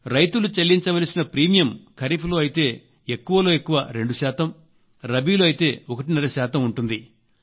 రైతులు చెల్లించవలసిన ప్రీమియం ఖరీఫ్ లో అయితే ఎక్కువలో ఎక్కువ రెండు శాతం రబీలో అయితే ఒకటిన్నర శాతం ఉంటుంది